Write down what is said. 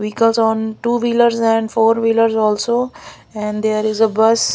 Vehicles on two wheelers and four wheelers also and there is a bus.